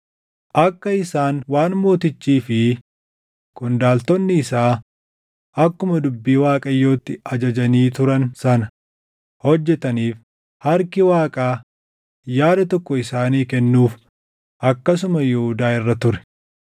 Akka isaan waan mootichii fi qondaaltonni isaa akkuma dubbii Waaqayyootti ajajanii turan sana hojjetaniif harki Waaqaa yaada tokko isaanii kennuuf akkasuma Yihuudaa irra ture.